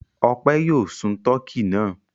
Ọpẹ́ yóò sun tọkí náà.